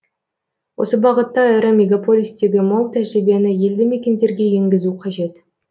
осы бағытта ірі мегаполистегі мол тәжірибені елді мекендерге енгізу қажет